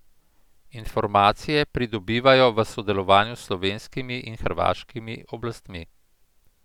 Informacije pridobivajo v sodelovanju s slovenskimi in hrvaškimi oblastmi.